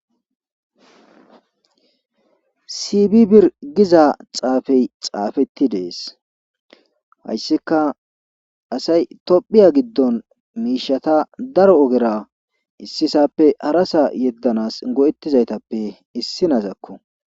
Siibi bir giza xaafey zafetti dees hayssikka asay tophiya giddon miishata daro ogera issi saappe hara saa yeddanaas go7ettizaytappe issinnazakko.